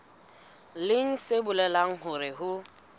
leng se bolelang hore ho